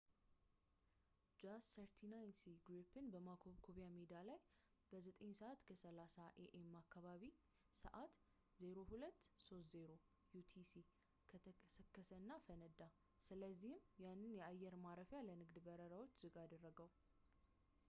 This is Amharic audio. jas 39c gripen በማኮብኮብያ ሜዳ ላይ በ9፡30 am አካባቢያዊ ሰዕት 0230 utc ተከሰከሰ እና ፈነዳ፣ ስለሆነም ያንን የአየር ማረፊያ ለንግድ በረራውች ዝግ አደረገው